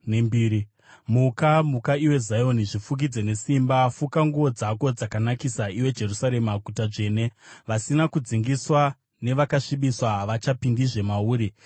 Muka, muka iwe Zioni, zvifukidze nesimba. Fuka nguo dzako dzakanakisa, iwe Jerusarema, guta dzvene. Vasina kudzingiswa navakasvibiswa havachapindizve mauri.